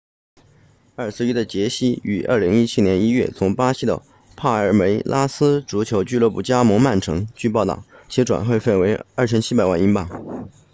21岁的杰西 jesus 于2017年1月从巴西的帕尔梅拉斯足球俱乐部加盟曼城据报道其转会费为2700万英镑